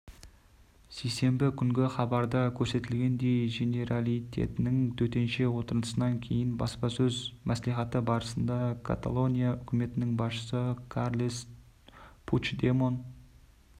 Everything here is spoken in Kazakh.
сейсенбі күнгі хабарда көрсетілгендей женералитеттің төтенше отырысынан кейінгі баспасөз мәслихаты барысында каталония үкіметінің басшысы карлес пучдемон